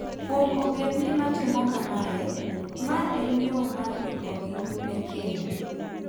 Kuom ogendni matimo kamae, ma en yo mar ikogi ne keny.